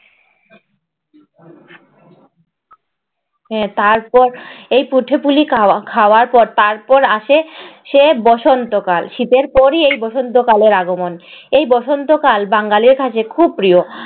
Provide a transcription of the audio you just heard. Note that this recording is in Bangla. আহ তারপর এই পিঠে-পুলি খাওয়া খাওয়ার পর তারপর আসে সে বসন্তকাল। শীতের পরই এই বসন্তকালের আগমন। এই বসন্তকাল বাঙালির কাছে খুব প্রিয়।